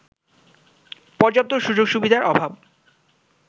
পর্যাপ্ত সুযোগ-সুবিধার অভাব